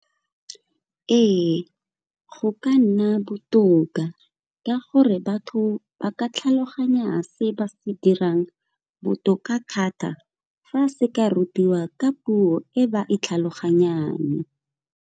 Ee, go ka nna botoka ka gore batho ba ka tlhaloganya se ba se dirang botoka thata fa se ka rutiwa ka puo e ba e tlhaloganyang.